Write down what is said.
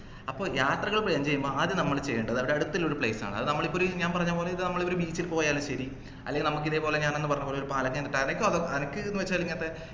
അപ്പോ യാത്രകൾ plan ചെയ്യുമ്പോൾ അദ്യം നമ്മൾ ചെയ്യേണ്ടത് അടുത്തുള്ള ഒരു place ആണ് അത് നമ്മളിപ്പോ ഒരു ഞാൻ പറഞ്ഞ പോലെ ഇതേപോലെ ഒരു ബീച്ചിൽ പോയാലും ശെരി അല്ലെങ്കിൽ നമുക്ക് ഇതേപോലെ ഞാനന്ന് പറഞ്ഞപോലെ ഒരു പാലക്കയം തട്ട് അനക്ക് എന്നുവെച്ചാൽ ഇങ്ങനത്തെ